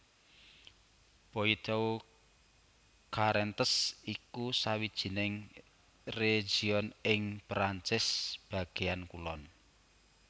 Poitou Charentes iku sawijining région ing Perancis bagéan kulon